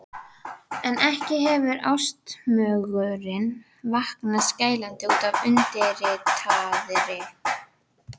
En ekki hefur ástmögurinn vaknað skælandi útaf undirritaðri.